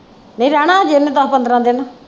ਨਹੀਂ ਰਹਿਣਾ ਅਜੇ ਉਹਨੇ ਦਸ ਪੰਦਰਾਹ ਦਿਨ।